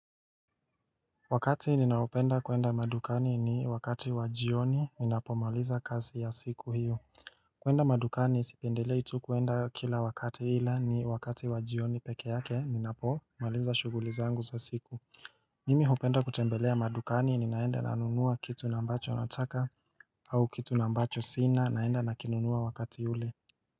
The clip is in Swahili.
Wakati ninaopenda kuenda madukani ni wakati wa jioni ninapomaliza kazi ya siku hiyo kuenda madukani sipendelei tu kuenda kila wakati ila ni wakati wa jioni peke yake ninapomaliza shughuli zangu za siku Mimi hupenda kutembelea madukani ninaenda nanunua kitu ambacho nataka au kitu ambacho sina naenda nakinunua wakati ule.